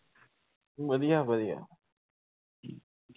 ਵਧੀਆ-ਵਧੀਆ